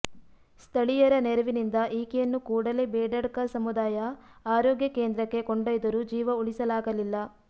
ಸ್ಥಳೀಯರ ನೆರೆವಿನಿಂದ ಈಕೆಯನ್ನು ಕೂಡಲೇ ಬೇಡಡ್ಕ ಸಮುದಾಯ ಆರೋಗ್ಯ ಕೇಂದ್ರಕ್ಕೆ ಕೊಂಡೊಯ್ದರೂ ಜೀವ ಉಳಿಸಲಾಗಲಿಲ್ಲ